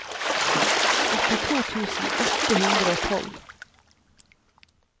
åttito tusen åtte hundre og tolv